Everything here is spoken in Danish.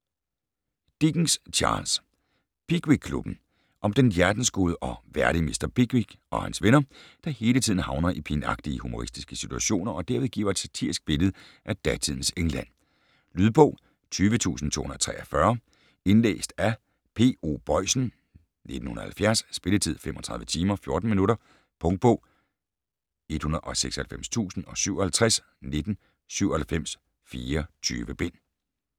Dickens, Charles: Pickwickklubben Om den hjertensgode og værdige mr. Pickwick og hans venner, der hele tiden havner i pinagtige humoristiske situationer og derved giver et satirisk billede af datidens England. Lydbog 20243 Indlæst af P.O. Boisen, 1970. Spilletid: 35 timer, 14 minutter Punktbog 196057 1997. 24 bind.